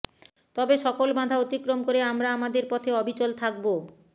তবে সকল বাধা অতিক্রম করে আমরা আমাদের পথে অবিচল থাকব